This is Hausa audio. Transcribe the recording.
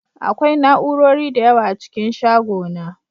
Akwai na'urori da yawa a cikin shagona